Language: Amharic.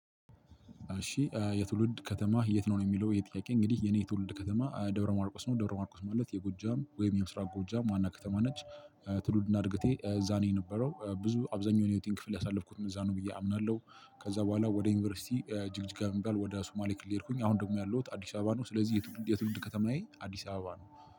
እሺ የትውልድ ከተማህ የት ነው ነው የሚለው ይህ ጥያቄ እንግዲህ የኔ የትውልድ ከተማ ደብረ ማርቆስ ነው። ደብረ ማርቆስ ማለት የጎጃም ወይም የምስራቅ ጎጃም ዋና ከተማ ነች። ትውልድ እና እድገቴ እዛ ነው የነበረው። ብዙ አብዛኛው የህይወቴን ክፍል ያሳለፍኩት እዛ ነው ብዬ አምናለሁ። ከዛ በኋላ ወደ ዩኒቨርሲቲ ጂግጅጋ የሚባል ወደ ሱማሌ ክልል ሄድኩኝ አሁን ደግሞ ያለሁት አዲስ አበባ ነው። ስለዚህ የትውልድ የትውልድ ከተማዬ አዲስ አበባ ነው።